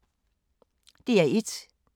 DR1